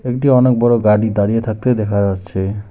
দুটি অনেক বড় গাড়ি দাঁড়িয়ে থাকতে দেখা যাচ্ছে।